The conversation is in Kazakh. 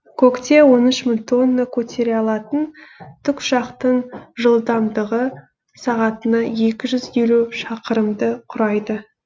көкте он үш мың тонна көтере алатын тікұшақтың жылдамдығы сағатына екі жүз елу шақырымды құрайды